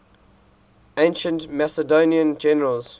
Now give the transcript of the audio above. ancient macedonian generals